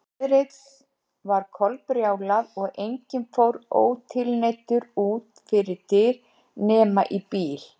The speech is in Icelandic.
Veðrið var kolbrjálað og enginn fór ótilneyddur út fyrir dyr nema í bíl.